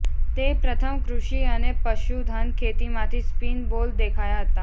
તે પ્રથમ કૃષિ અને પશુધન ખેતી માંથી સ્પીન બોલ દેખાયા હતા